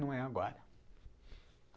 Não é agora.